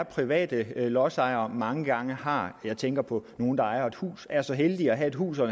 private lodsejere mange gange har jeg tænker på nogle der ejer et hus er så heldige at have et hus og